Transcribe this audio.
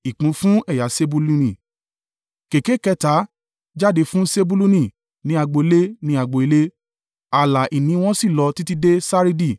Kèké kẹta jáde fún Sebuluni, ní agbo ilé ní agbo ilé ààlà ìní wọn sì lọ títí dé Saridi.